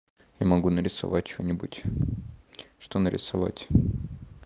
я могу нарисовать что-нибудь что нарисовать